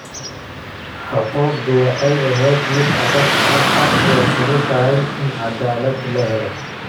Xuquuqdu waxay ahayd mid adag. Hadda way fududahay in cadaalad la helo.